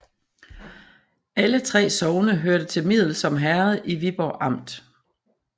Alle 3 sogne hørte til Middelsom Herred i Viborg Amt